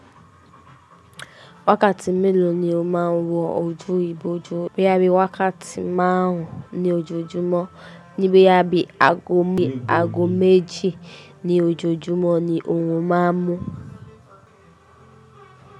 Wákàtí mélòó ni ó máa ń wọ ojú ibojú bí i wákàtí máàárùn ní ojoojúmọ́ ní boya ẹbí aago méjì ní ojoojúmọ́ ni oorun máa ń mu.